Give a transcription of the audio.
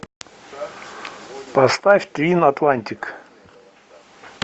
поставь твин атлантик